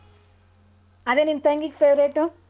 ಅದೇ ನಿನ್ ತಂಗಿಗ್ favorite ಉ.